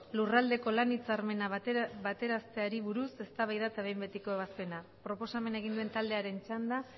lurraldeko lan hitzarmena betearazteari buruz eztabaida eta behin betiko ebazpena proposamena egin duen taldearen txanda